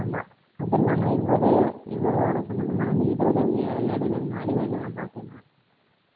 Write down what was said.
ஆமா. அது இல்லாமல் இவரு இவரோட சம்பந்தமான இந்த இதழ்கள், ஏடுகள், நாளிதழ்கள்லாம் பார்த்தீங்கன்னா